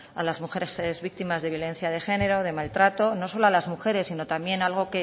a las mujeres víctimas de violencia de género de maltrato no solo a las mujeres sino también algo